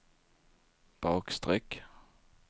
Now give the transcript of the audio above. bakstreck